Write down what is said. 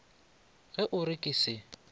ge o re ke se